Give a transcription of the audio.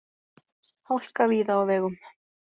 Hálka víða á vegum